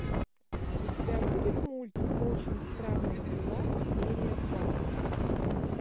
у тебя будет мульт очень странные дела серия два